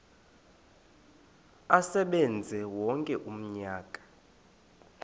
asebenze wonke umnyaka